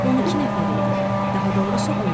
12 nəfər idik, daha doğrusu 11.